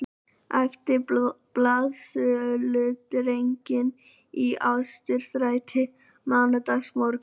æptu blaðsöludrengir í Austurstræti mánudagsmorguninn